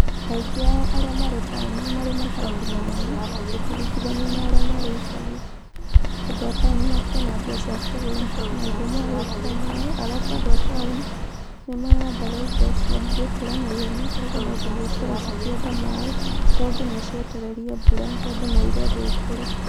Aīngī ao arīa maree tao nī maree matangī manene gūkīrī gīthanīo na arīa maree īshagī tondū a taonī makīree na mbīa cīa kūgūra maīndo magwekīra maī alafu andu a taonī nīmahandanga īndo cīa gūkūra naīhenya kūogūo nū gīnya cīī korūo cīīkīenda maī togītha cīītereīrīe mbūra tondū nī īrīendo īkoree